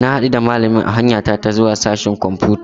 Na hadu da malamin a hanya ta ta zuwa sashen kwamfuta.